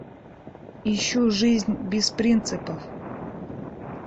ищу жизнь без принципов